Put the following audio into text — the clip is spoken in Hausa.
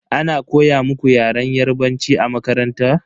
Ana koya muku Yaren yarbanci a makaranta?